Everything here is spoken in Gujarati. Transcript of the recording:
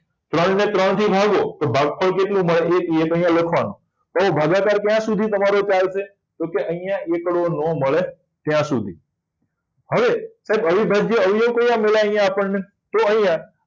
ત્રણ ને ત્રણ થી ભાગો તો ભાગ ફળ કેટલું મળે એક તો અહિયાં લખવા નું હવે ભાગાકાર ક્યા સુધી તમારે ચાલશે તો કે અહિયાં એકડો નાં મળે ત્યાર સુધી હવે સાહેબ અવિભાજ્ય અવયવો કયા મળ્યા અહિયાં આપણને તો અહિયાં